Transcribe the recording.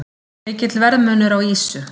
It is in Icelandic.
Mikill verðmunur á ýsu